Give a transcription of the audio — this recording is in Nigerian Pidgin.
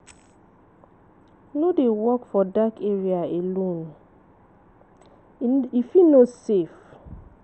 No dey walk for dark area alone, e fit no safe.